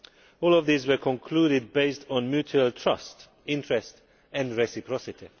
All of these were concluded based on mutual trust, interest and reciprocity.